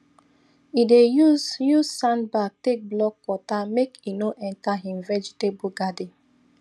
e dey use use sandbag take block water make e no enter him vegetable garden